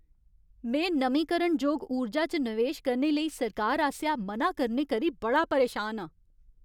में नमींकरणजोग ऊर्जा च नवेश करने लेई सरकार आसेआ मना करने करी बड़ा परेशान आं।